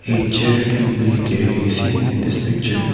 a chair can be clearly seen in this picture.